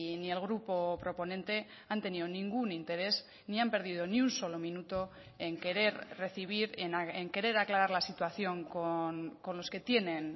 ni el grupo proponente han tenido ningún interés ni han perdido ni un solo minuto en querer recibir en querer aclarar la situación con los que tienen